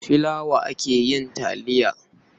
Da filawa ake yin taliya.